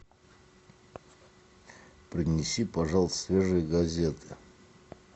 принеси пожалуйста свежие газеты